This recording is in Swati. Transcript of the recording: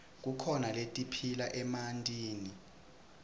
kukhona letiphila emantini